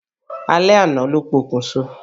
Alẹ́ àná ló pokùn so.